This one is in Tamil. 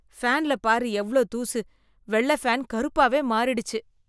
ஃபேன்ல பாரு எவ்ளோ தூசு, வெள்ளை ஃபேன் கருப்பாவே மாறிடுச்சு.